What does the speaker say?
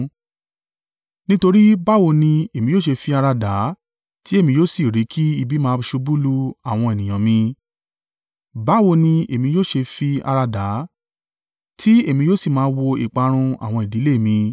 Nítorí báwo ni èmi yóò ṣe fi ara dà á tí èmi yóò sì rí kí ibi máa ṣubú lu àwọn ènìyàn mi? Báwo ni èmi yóò ṣe fi ara dà á, tí èmi yóò sì máa wo ìparun àwọn ìdílé mi?”